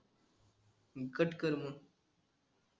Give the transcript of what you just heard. अं cut कर मंग